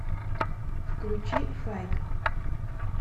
включи файк